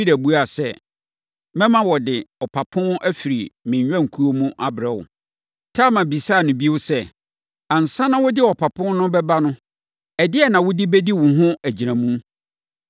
Yuda buaa sɛ, “Mɛma wɔde ɔpapo afiri me nnwankuo no mu abrɛ wo.” Tamar bisaa no bio sɛ, “Ansa na wode ɔpapo no bɛba no, ɛdeɛn na wode bɛdi wo ho agyinamu?”